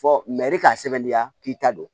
Fɔ k'a sɛbɛndenya k'i ta don